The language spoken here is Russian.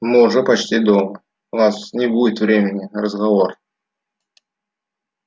мы уже почти дома у нас не будет времени на разговор